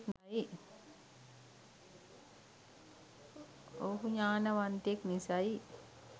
ඔහු ඥානවන්තයෙක් නිසයි.